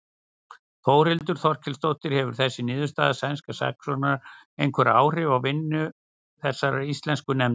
Þórhildur Þorkelsdóttir: Hefur þessi niðurstaða sænskra saksóknara einhver áhrif á vinnu þessarar íslensku nefndar?